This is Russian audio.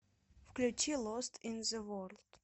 включи лост ин зе ворлд